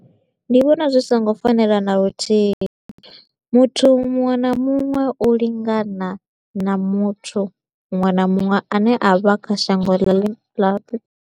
Ndi vhona zwi so ngo fanela na luthihi, muthu muṅwe na muṅwe u lingana na muthu muṅwe na muṅwe a ne a vha kha shango ḽi